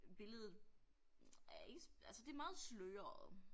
Billedet er ikke altså det meget sløret